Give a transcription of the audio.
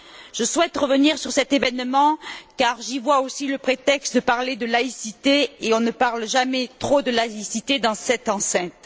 Je souhaite revenir sur cet événement car j'y vois aussi le prétexte de parler de laïcité, et on ne parle jamais trop de laïcité dans cette enceinte.